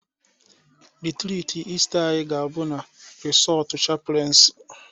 Rịtrịtị Ịsta anyị ga-abụ na resọọtụ chapụlensi